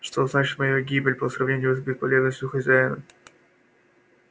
что значит моя гибель по сравнению с бесполезностью хозяина